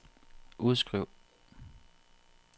udskriv